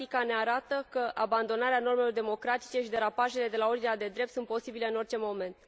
practica ne arată că abandonarea normelor democratice și derapajele de la ordinea de drept sunt posibile în orice moment.